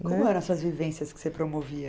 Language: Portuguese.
Como eram vivências que você promovia?